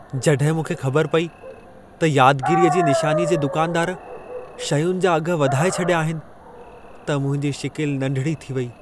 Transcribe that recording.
जॾहिं मूंखे ख़बर पई त यादगीरीअ जी निशानीअ जे दुकानदार शयुनि जा अघ वधाए छॾिया आहिनि, त मुंहिंजी शिकिल नंढिड़ी थी वई।